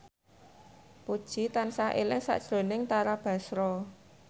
Puji tansah eling sakjroning Tara Basro